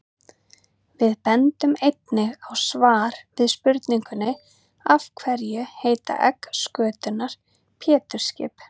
Við bendum einnig á svar við spurningunni Af hverju heita egg skötunnar Pétursskip?